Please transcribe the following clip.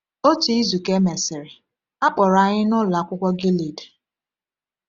Otu izu ka e mesịrị, a kpọrọ anyị na Ụlọ Akwụkwọ Gilead.